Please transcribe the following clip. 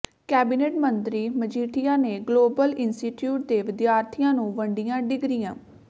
cabinet ਮੰਤਰੀ ਮਜੀਠੀਆ ਨੇ global institute ਦੇ ਵਿਦਿਆਰਥੀਆਂ ਨੂੰ ਵੰਡੀਆਂ ਡਿਗਰੀਆਂ